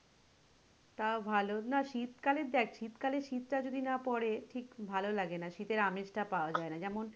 তাও ভালো না শীতকালে দেখ শীত কালে শীত টা যদি না পড়ে ঠিক ভালো লাগে না শীতের আমেজ টা পাওয়া যায় না যেমন,